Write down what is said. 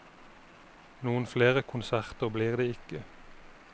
Noen flere konserter blir det ikke.